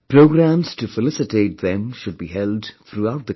Programmes to felicitate them should be held throughout the country